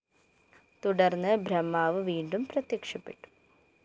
തുടര്‍ന്ന് ബ്രഹ്മാവ് വീണ്ടും പ്രത്യക്ഷപ്പെട്ടു